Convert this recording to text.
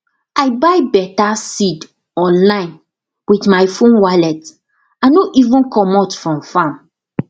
i buy beta seed online with my phone wallet i no even comot from farm